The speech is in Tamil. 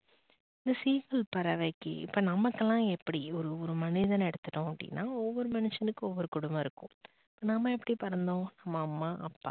இந்த seegal பறவைக்கு இப்ப நமகுலாம் எப்படி ஒரு ஒரு மனிதன எடுத்துகிட்டோம் அப்படினா ஒரு ஒரு மனுஷனுக்கும் ஒவ்வொரு குடும்பம் இருக்கும். நம்ம எப்படி பறந்தோம் நம்ப அம்மா அப்பா